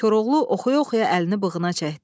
Koroğlu oxuya-oxuya əlini bığına çəkdi.